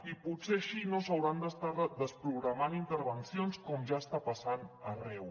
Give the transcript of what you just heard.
i potser així no s’hauran d’estar desprogramant intervencions com ja està passant arreu